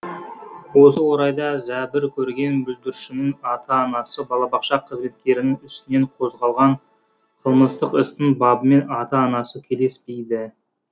осы орайда зәбір көрген бүлдіршіннің ата анасы балабақша қызметкерінің үстінен қозғалған қылмыстық істің бабымен ата анасы келіспейді